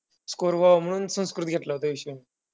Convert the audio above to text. Score व्हावा म्हणून संस्कृत घेतला होता विषय.